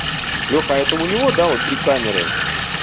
леха это у него да вот три камеры